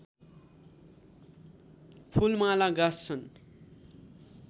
फूलमाला गाँस्छन्